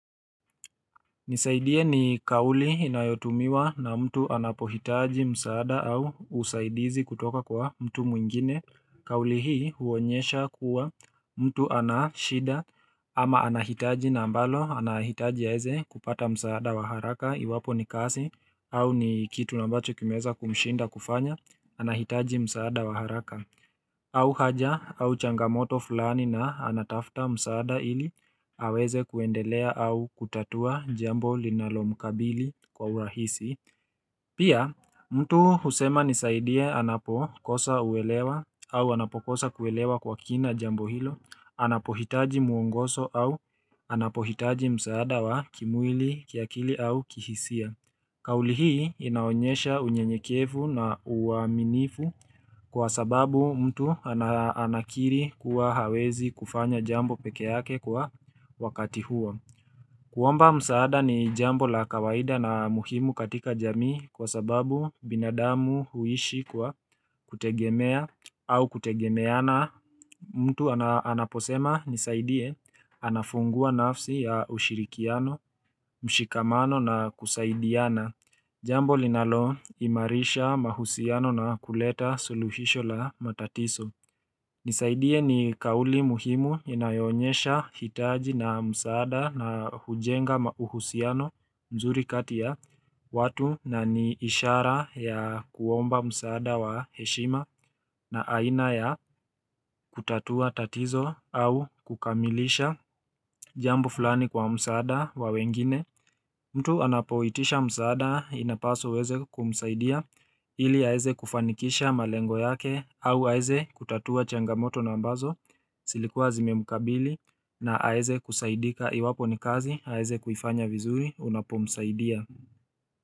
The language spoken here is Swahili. Nisaidieni kauli inayotumiwa na mtu anapohitaji msaada au usaidizi kutoka kwa mtu mwingine. Kauli hii huonyesha kuwa mtu anashida ama anahitaji na ambalo anahitaji aeze kupata msaada wa haraka iwapo ni kasi au ni kitu nambacho kimeza kumshinda kufanya anahitaji msaada wa haraka. Au haja au changamoto fulani na anatafta msaada ili aweze kuendelea au kutatua jambo linalo mkabili kwa urahisi Pia mtu husema nisaidia anapokosa uwelewa au anapokosa kuwelewa kwa kina jambo hilo Anapohitaji muungoso au anapohitaji msaada wa kimwili kiakili au kihisia Kauli hii inaonyesha unyenyekievu na uaminifu kwa sababu mtu anakiri kuwa hawezi kufanya jambo peke yake kwa wakati huo. Kuomba msaada ni jambo la kawaida na muhimu katika jamii kwa sababu binadamu huishi kwa kutegemea au kutegemeana mtu anaposema nisaidie anafungua nafsi ya ushirikiano, mshikamano na kusaidiana. Jambo linalo imarisha mahusiano na kuleta suluhisho la matatiso. Nisaidie ni kauli muhimu inayoonyesha hitaji na msaada na hujenga mauhusiano mzuri kati ya watu na ni ishara ya kuomba msaada wa heshima na aina ya kutatua tatizo au kukamilisha jambo fulani kwa msaada wa wengine. Mtu anapoitisha msaada inapaswa uweze kumsaidia ili aeze kufanikisha malengo yake au aeze kutatua changamoto na ambazo silikuwa zimemukabili na aeze kusaidika iwapo ni kazi aeze kufanya vizuri unapomsaidia.